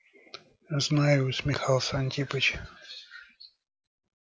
знаю усмехался антипыча